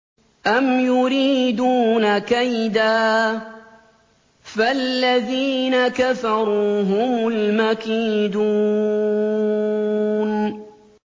أَمْ يُرِيدُونَ كَيْدًا ۖ فَالَّذِينَ كَفَرُوا هُمُ الْمَكِيدُونَ